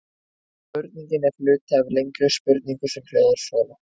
Spurningin er hluti af lengri spurningu sem hljóðar svona: